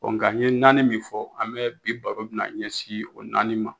Ɔ Nga an ye naani min fɔ an bɛ bi baba be na ɲɛsin o naani ma